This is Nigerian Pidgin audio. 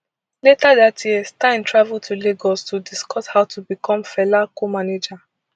later dat year stein travel to lagos to discuss how to become fela comanager